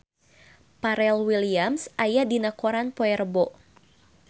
Pharrell Williams aya dina koran poe Rebo